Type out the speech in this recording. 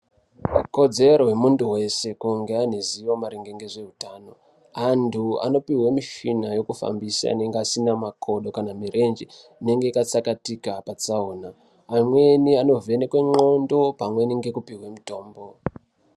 Ikodzero yemuntu weshe kuti ange aneruzivo mayererano nezveutano. Antu anopihwa mushina yekufambisa ngazi nemakodo, kana mirenje yakatsakatika patsaona. Mamweni anovheneke nxondo pamweni ngekupihwe mitombo